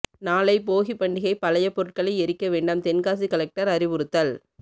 நாளை போகி பண்டிகை பழைய பொருட்களை எரிக்க வேண்டாம் தென்காசி கலெக்டர் அறிவுறுத்தல்